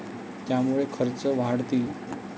त्यामुळे खर्च वाढतील.